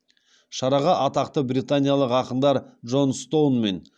шараға атақты британиялық ақындар джон стоун мен